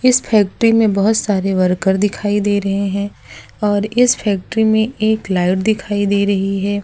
इस फैक्ट्री में बोहोत सारे वर्कर दिखाई दे रहे हैं और इस फैक्ट्री में एक लाइट दिखाई दे रही है।